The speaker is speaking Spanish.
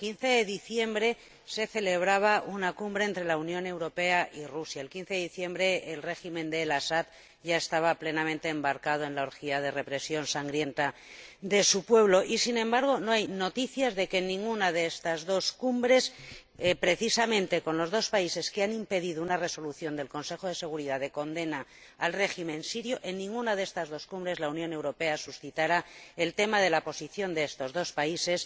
El 15 de diciembre se celebraba una cumbre entre la Unión Europea y Rusia. El 15 de diciembre el régimen de El Asad ya estaba plenamente embarcado en la orgía de represión sangrienta de su pueblo y, sin embargo, no hay noticias de que en ninguna de esas dos cumbres —precisamente con los dos países que han impedido que el Consejo de Seguridad de las Naciones Unidas adopte una resolución de condena al régimen sirio— la Unión Europea planteara el tema de la posición de estos dos países